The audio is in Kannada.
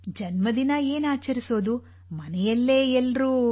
ಜನ್ಮದಿನ ಏನು ಆಚರಿಸುವುದು ಮನೆಯಲ್ಲೇ ಎಲ್ಲರೂ